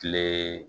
Kile